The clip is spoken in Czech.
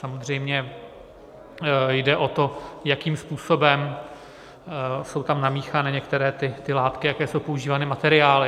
Samozřejmě jde o to, jakým způsobem jsou tam namíchány některé ty látky, jaké jsou používány materiály.